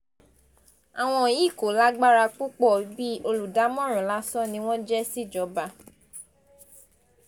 àwọn yìí kò lágbára púpọ̀ bíi olùdámọ̀ràn lásán ni wọ́n jẹ́ síjọba